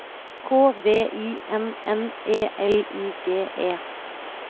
K V I N N E L I G E